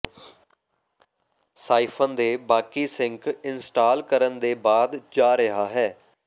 siphon ਦੇ ਬਾਕੀ sink install ਕਰਨ ਦੇ ਬਾਅਦ ਜਾ ਰਿਹਾ ਹੈ